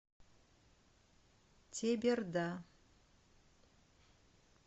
теберда